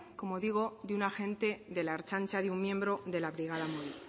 como digo de un agente de la ertzaintza de un miembro de la brigada móvil